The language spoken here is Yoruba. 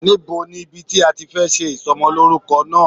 Níbo ni ibi tí a ti fẹ́ ṣe Ìsọmọlórúkọ náà